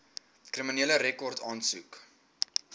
kriminele rekord aansoek